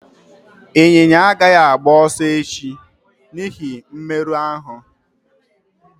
Ịnyịnya agaghị agba ọsọ echi n'ihi mmerụ ahụ